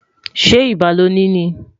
ṣé ibà loni ní?